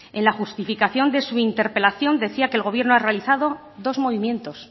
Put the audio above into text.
en la justificación de su interpelación decía que el gobierno ha realizado dos movimientos